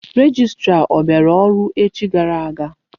Rejistra ọ bịara ọrụ echi gara aga?